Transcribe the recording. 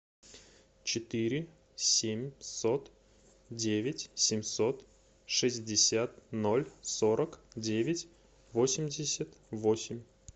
четыре семьсот девять семьсот шестьдесят ноль сорок девять восемьдесят восемь